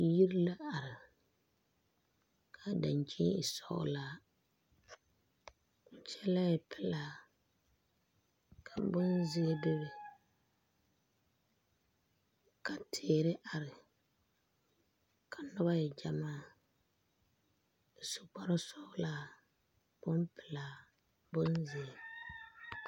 Yiri la are kaa dankyine e sɔglaa , kaa kyɛlɛ e pelaa ka bon zeɛ bebe ka teere are ka noba e gyamaa ka kaŋ su kpare sɔglaa, bonpelaa, bonzeɛ.